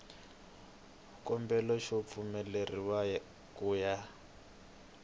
xikombelo xo pfumeleriwa ku ya